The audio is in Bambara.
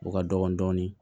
O ka dɔgɔ dɔɔnin